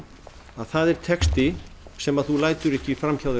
að það er texti sem þú lætur ekki fram hjá þér